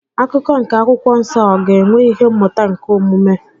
Akụkọ nke akwụkwọ nsọ ọ ga-enwe ihe mmụta nke omume?